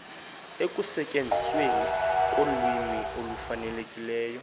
ekusetyenzisweni kolwimi olufanelekileyo